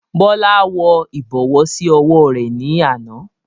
Bọlá wọ ibọ̀wọ̀ sì ọwọ rẹ ni àná.